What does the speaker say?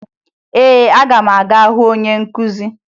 Ee, aga m aga hụ onye nkụzi